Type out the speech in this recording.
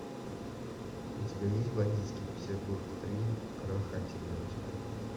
у тебя есть бандитский петербург три крах антибиотика